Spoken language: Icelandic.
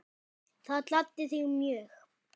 Það gladdi þig mjög.